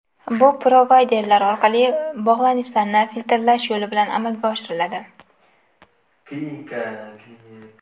Bu provayderlar orqali bog‘lanishlarni filtrlash yo‘li bilan amalga oshiriladi.